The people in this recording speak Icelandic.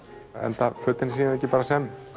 enda fötin ekki bara sem